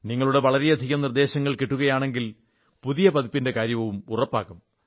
നിങ്ങളുടെ വളരെയധികം നിർദ്ദേശങ്ങൾ കിട്ടുകയാണെങ്കിൽ പുതിയ പതിപ്പിന്റെ കാര്യവും ഉറപ്പാകും